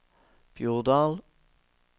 Bjordal